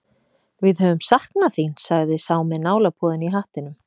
Við höfum saknað þín, sagði sá með nálapúðann í hattinum.